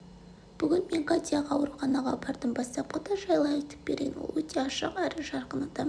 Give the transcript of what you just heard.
бүгін мен катяға ауруханаға бардым бастапқыда жайлы айтып берейін ол өте ашық әрі жарқын адам